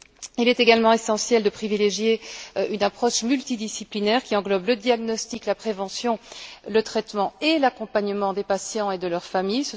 Il est également essentiel de privilégier une approche multidisciplinaire qui englobe le diagnostic, la prévention, le traitement et l'accompagnement des patients et de leur famille